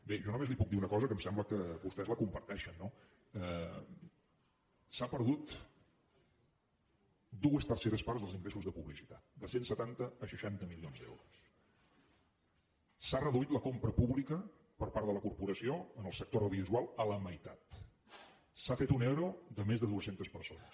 bé jo només li puc dir una cosa que em sembla que vostès la comparteixen no s’han perdut dues terceres parts dels ingressos de publicitat de cent i setanta a seixanta milions d’euros s’ha reduït la compra pública per part de la corporació en el sector audiovisual a la meitat s’ha fet un ero de més de dues centes persones